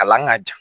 Kalan ka ja